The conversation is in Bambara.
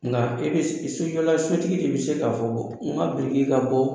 Nka e bɛ sojɔla sotigi de bɛ se k'a fɔ n ka biriki ka bɔ.